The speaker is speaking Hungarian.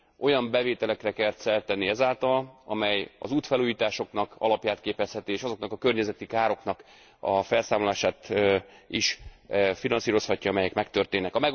Olyan bevételekre kell szert tenni ezáltal, amely az útfelújításoknak alapját képezhetik, és azoknak a környezeti károknak a felszámolását is finanszírozhatják, amelyek megtörténnek.